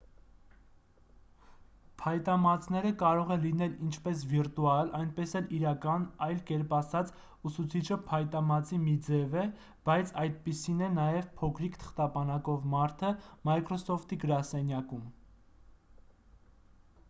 փայտամածները կարող են լինել ինչպես վիրտուալ այնպես էլ իրական այլ կերպ ասած՝ ուսուցիչը փայտամածի մի ձև է բայց այդպիսին է նաև փոքրիկ թղթապանակով մարդը microsoft-ի գրասենյակում։